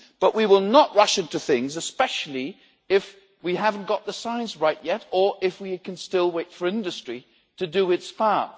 But we will not rush into things, especially if we haven't got the science right yet or if we can still wait for industry to do its part.